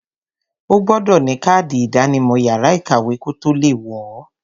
O gbọdọ̀ ní kádì ìdánimọ̀ yàrá ìkàwé kotó le wọ̀ọ.